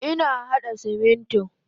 Ina hada Simintin.